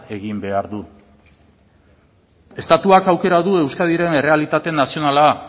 egin behar du estatuak aukera du euskadiren errealitate nazionala